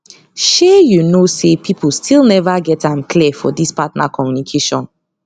shay you know say people still never get am clear for this partner communication